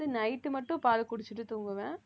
night மட்டும் பால் குடிச்சிட்டு தூங்குவேன்